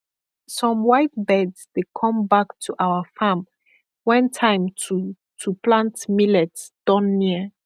some white birds dey come back to our farm when time to to plant millet don near